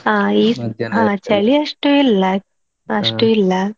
ಹಾ ಈ ಹಾ ಚಳಿ ಅಷ್ಟು ಇಲ್ಲ ಅಷ್ಟು ಇಲ್ಲ.